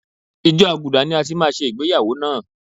Ìjọ àgùdà ni a ti máa ṣe ìgbéyàwó náà.